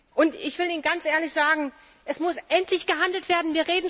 Und, ich will Ihnen ganz ehrlich sagen, es muss endlich gehandelt werden.